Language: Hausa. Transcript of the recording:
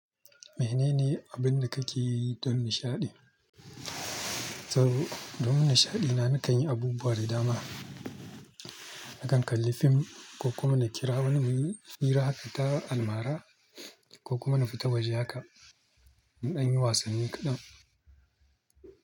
Mene ne abin da kake yi don nishaɗi? To don nishaɗi na nakan yi abubuwa da dama. Nakan kalli fim ko kuma na kira wani muyi hira, fita almara ko kuma na fita waje haka in an yi wasanni kaɗan.